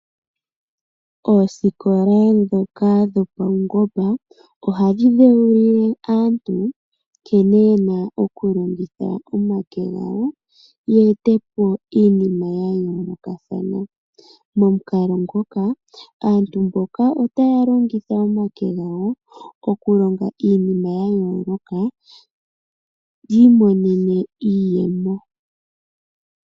Oosikola ndhoka dhopaungomba ohadhi dheulile aantu nkene yena okulongitha omake gawo ye ete po iinima ya yoolokathana. Momukalo ngok aantu mboka otaya longitha omake gawo okulonga iinima ya yooloka yi imonene iiyemo.